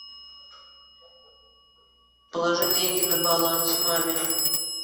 положи деньги на баланс маме